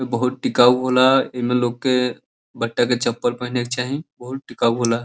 बहोत टीकाउ होला। एमे लोग के बाटा के चप्पल पहने के चाही। बहोत टीकाउ होला।